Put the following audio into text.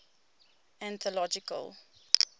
anthological